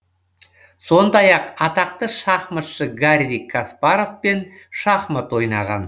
сондай ақ атақты шахматшы гарри каспаровпен шахмат ойнаған